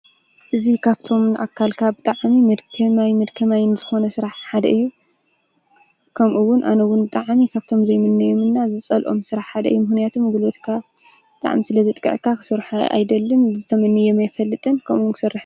እዚ ካብቶም ኣካልካ ብጣዕሚ መድከማይን መድከማይን ዝኾነ ስራሕ ሓደ እዩ :: ከምኡ እውን ኣነ ውን ብጣዕሚ ካብቶም ዘይምነዮምን ዝፀልኦም ስራሕ ሓደ እዩ። ምክንያቱ ጉልበትካ ብጣዕሚ ስለ ዘጥቀዐካ ክሰርሖ ኣይደልን ተመነዮ ኣይፈልጥን ከምኡ ክሰርሕ::